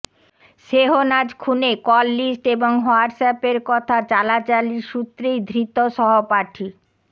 শেহনাজ খুনে call list এবং হোয়াটস অ্যাপের কথা চালাচালির সূত্রেই ধৃত সহপাঠী